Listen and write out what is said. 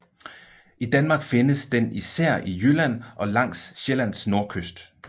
I Danmark findes den især i Jylland og langs Sjællands nordkyst